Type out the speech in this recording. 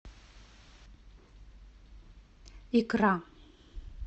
икра